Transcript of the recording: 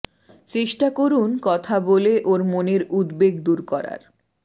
চেষ্টা করুন কথা বলে ওর মনের উদ্বেগ দূর করার